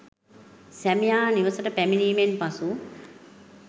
සැමියා නිවසට පැමිණීමෙන් පසු